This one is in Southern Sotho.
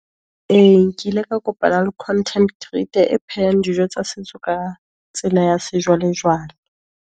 Ee nkile ka kopana le content creator, e phehang dijo tsa setso ka tsela ya sejwalejwale.